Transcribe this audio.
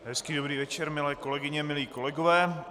Hezký dobrý večer, milé kolegyně, milí kolegové.